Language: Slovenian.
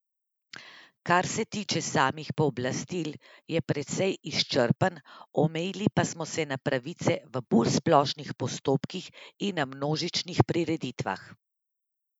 Kar se tiče samih pooblastil, je precej izčrpen, omejili pa smo se na pravice v bolj splošnih postopkih in na množičnih prireditvah.